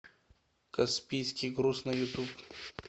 каспийский груз на ютуб